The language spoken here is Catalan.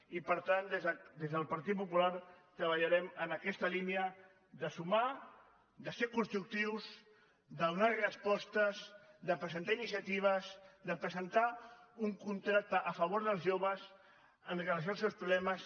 i per tant des del partit popular treballarem en aquesta línia de sumar de ser constructius de donar respostes de presentar iniciatives de presentar un contracte a favor dels joves amb relació als seus problemes